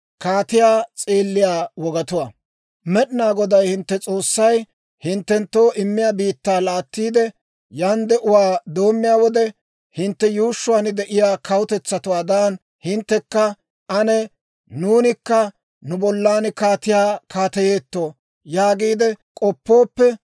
«Med'inaa Goday hintte S'oossay hinttenttoo immiyaa biittaa laattiide, yan de'uwaa doommiyaa wode, hintte yuushshuwaan de'iyaa kawutetsatuwaadan, hinttekka, ‹Ane nuunikka nu bollan kaatiyaa kaateyeetto› yaagiide k'oppooppe,